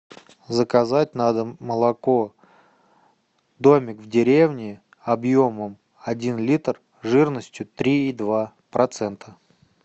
заказать на дом молоко домик в деревне объемом один литр жирностью три и два процента